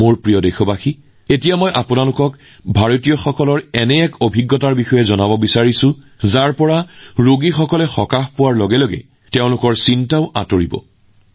মোৰ প্ৰিয় দেশবাসীসকল এতিয়া মই ভাৰতৰ এনে এক সাফল্য আপোনালোকৰ লগত শ্বেয়াৰ কৰিছো যিয়ে ৰোগীৰ জীৱন সহজ কৰি তুলিব আৰু তেওঁলোকৰ সমস্যা হ্ৰাস কৰিব